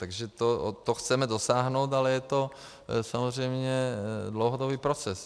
Takže toho chceme dosáhnout, ale je to samozřejmě dlouhodobý proces.